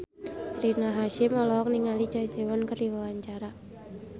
Rina Hasyim olohok ningali Choi Siwon keur diwawancara